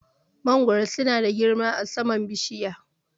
Mangoro su na girma a saman bishiya